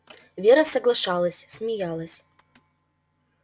вера соглашалась смеялась